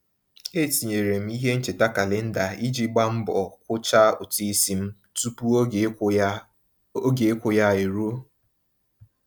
E tinyere m ihe ncheta kalenda iji gba mbọ kwucha ụtụisi m tụpụ oge ịkwụ ya oge ịkwụ ya e ruo.